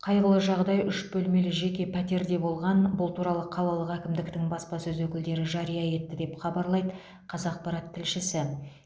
қайғылы жағдай үш бөлмелі жеке пәтерде болған бұл туралы қалалық әкімдіктің баспасөз өкілдері жария етті деп хабарлайды қазақпарат тілшісі